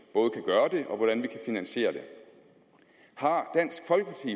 og til hvordan vi kan finansiere det har dansk folkeparti